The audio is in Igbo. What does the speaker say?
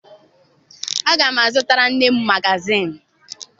Aga m azụtara nne m magaziini.